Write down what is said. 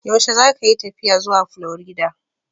Yaushe zakayi tafiya zuwa Florida?